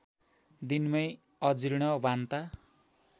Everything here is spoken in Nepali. दिनमै अजीर्ण बान्ता